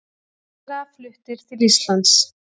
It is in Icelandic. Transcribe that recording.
Ræðarar fluttir til Íslands